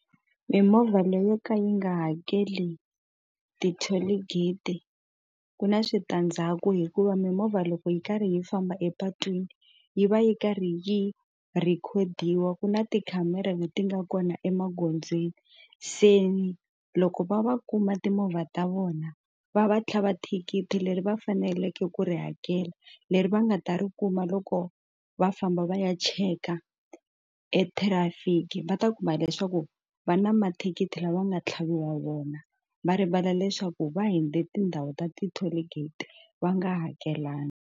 Mimovha leyo ka yi nga hakeli ti-toll gate ku na switandzhaku hikuva mimovha loko yi karhi yi famba epatwini yi va yi karhi yi rhikhodiwa ku na tikhamera leti nga kona emagondzweni se loko va va kuma timovha ta vona va va tlhava thikithi leri va faneleke ku ri hakela leri va nga ta ri kuma loko va famba va ya cheka ethirafiki va ta kuma leswaku va na mathikithi lama nga tlhavi wa vona va rivala leswaku va hundze tindhawu ta ti-toll gate va nga hakelanga.